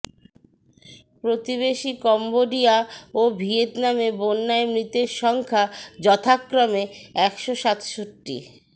প্রতিবেশী কম্বোডিয়া ও ভিয়েতনামে বন্যায় মৃতের সংখ্যা যথাক্রমে একশো সাতষট্টি